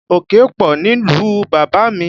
Òkè pọ̀ nílùú bàbá mi